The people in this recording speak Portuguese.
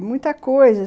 E muita coisa.